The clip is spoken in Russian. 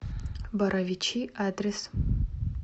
боровичи адрес